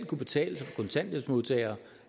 kan betale sig